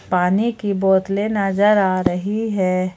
पानी की बोतले नजर आ रही है।